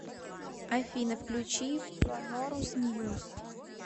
афина включи пронорус ньюс